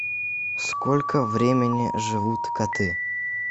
сколько времени живут коты